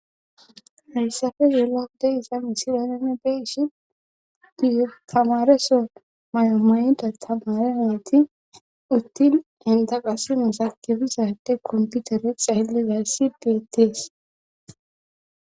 heyssafe yeelagude isa misilanene beeshi giyo tamareso may7omayida tamareameti uttin endaqasimosa kebizade komputere xaylle gaysi beetees